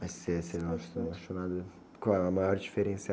Mas você, você não, assim, não achou nada... Qual é a maior diferença?